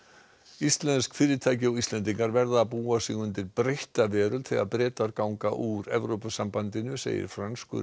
Íslensk fyrirtæki og Íslendingar verða að búa sig undir breytta veröld þegar Bretar ganga úr Evrópusambandinu segir franskur